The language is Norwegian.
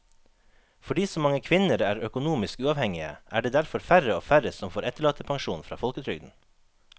Fordi så mange kvinner er økonomisk uavhengige er det derfor færre og færre som får etterlattepensjon fra folketrygden.